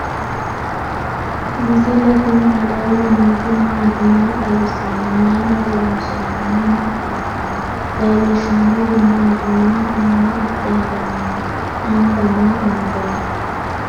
misile tini alenni nooti maati? maa xawissanno? Maayinni loonisoonni? mama affanttanno? leelishanori maati? manchu maa adhe harani no?anga maa amade no?